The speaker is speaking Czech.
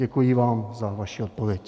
Děkuji vám za vaši odpověď.